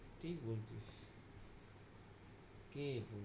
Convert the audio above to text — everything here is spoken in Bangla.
কে?